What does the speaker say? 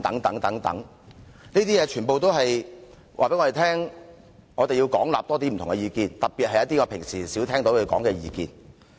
這些全部均告訴我們，我們要廣納更多不同意見，特別是平常較少聽到的意見。